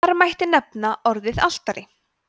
þar mætti nefna orðin altari